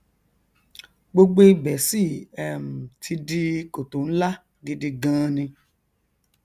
gbogbo ibẹ sì um ti di kòtò nlá gidi gaan ni